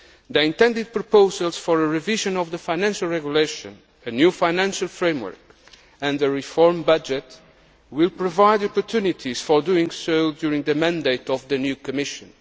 spending. The intended proposals for a revision of the financial regulation, a new financial framework and a reformed budget will provide opportunities for doing so during the mandate of the new Commission.